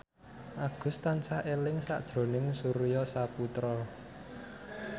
Agus tansah eling sakjroning Surya Saputra